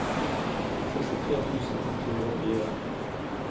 sekstitre tusen ett hundre og fire